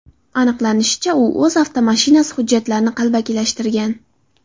Aniqlanishicha, u o‘z avtomashinasi hujjatlarini qalbakilashtirgan.